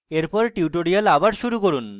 এরপর tutorial পুনরায় শুরু করুন